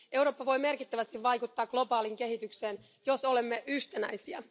Eurooppa voi merkittävästi vaikuttaa globaaliin kehitykseen, jos olemme yhtenäisiä.